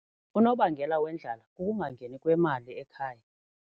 Unobangela wendlala kukungangeni kwemali ekhaya.